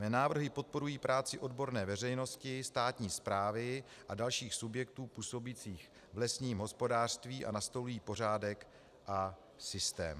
Mé návrhy podporují práci odborné veřejnosti, státní správy a dalších subjektů působících v lesním hospodářství a nastolují pořádek a systém.